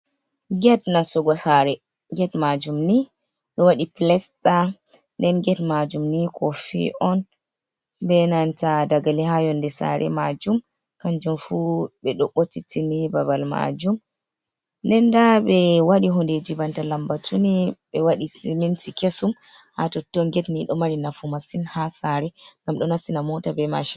Get nasugo sare. Get majum ni ɗo waɗi pilesta. Ɗen get majum ni kofi on. Be nanta ɗagali ha yonɗe sare majum. Kanjum fu be ɗo bottittini babal majum. Ɗen ɗa be waɗi hunɗeji banta lambatuni. Be waɗi siminti kesum ha totton. Get ni ɗo mari nafu masin ha sare. Ngam ɗo nastina mota be macin.